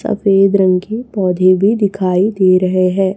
सफेद रंग की पौधे भी दिखाई दे रहे है।